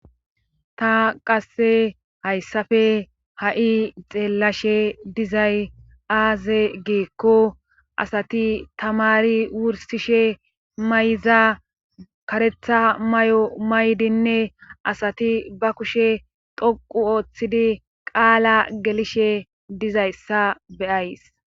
Ta qasse hayssafe ha'i xeellashe dizay aaze geekko asati tamari wursishe may'za karetha may'o maydinne asati ba kushe toqu ooththidi qaala gelishe dizayssa beyays.